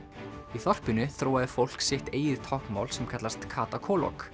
í þorpinu þróaði fólk sitt eigið táknmál sem kallast Kata